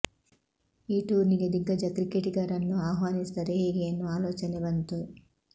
ಈ ಟೂರ್ನಿಗೆ ದಿಗ್ಗಜ ಕ್ರಿಕೆಟಿಗರನ್ನು ಆಹ್ವಾನಿಸಿದರೆ ಹೇಗೆ ಎನ್ನುವ ಆಲೋಚನೆ ಬಂತು